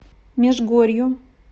межгорью